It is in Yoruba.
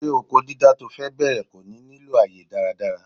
Ṣé oko dídá to fe bẹ̀rẹ̀ kò ní nílò àyè dáradára?